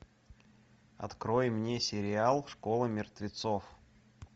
открой мне сериал школа мертвецов